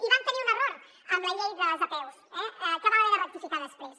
i vam tenir un error amb la llei dels apeus que vam haver de rectificar després